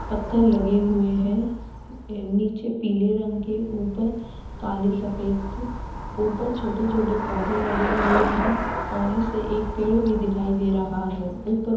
पत्थर लगे हुए है। नीचे पीले रंग के ऊपर काले सफेद ऊपर छोटे-छोटे पौधे लगे हुए है। कोने से एक पेड़ भी दिखाई दे रहा है। ऊपर --